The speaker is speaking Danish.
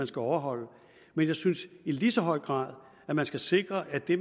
skal overholde men jeg synes i lige så høj grad at man skal sikre at det